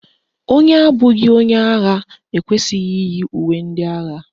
Onye abụghị onye agha ekwesịghị iyi uwe ndị agha